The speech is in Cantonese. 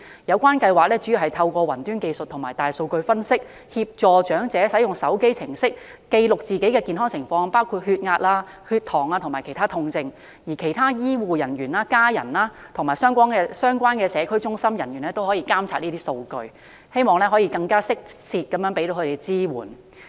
有關計劃主要透過雲端技術和大數據分析，協助長者使用手機應用程式記錄自己的健康情況，包括血壓、血糖指數及其他痛症，而醫護人員、家人及相關社區中心工作人員亦可以監察上述數據，藉此提供更適切的支援。